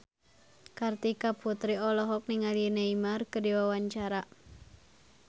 Kartika Putri olohok ningali Neymar keur diwawancara